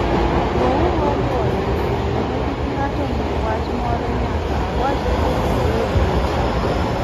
Wuouru awuoya, kendo kik ng'ato ng'i wach moro nyaka awachne ni owe wuoyo.